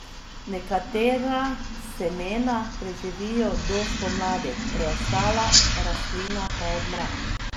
Nekatera semena preživijo do spomladi, preostala rastlina pa odmre.